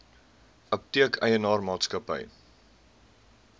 apteek eienaar maatskappy